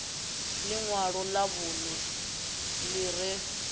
inwalo lṅa vhunṋe ḽi re